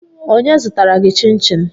Onye zụtara gị chinchin?